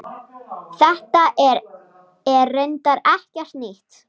Horft verði til þeirra.